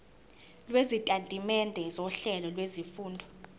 lwesitatimende sohlelo lwezifundo